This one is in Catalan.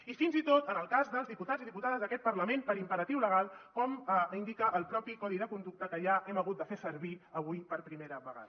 i fins i tot en el cas dels diputats i diputades d’aquest parlament per imperatiu legal com indica el codi de conducta mateix que ja hem hagut de fer servir avui per primera vegada